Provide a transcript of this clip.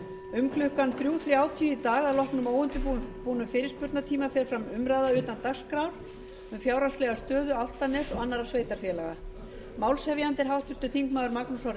um klukkan þrjú þrjátíu í dag að loknum óundirbúnum fyrirspurnatíma fer fram umræða utan dagskrár um fjárhagslega stöðu álftaness og annarra sveitarfélaga málshefjandi er háttvirtur þingmaður magnús orri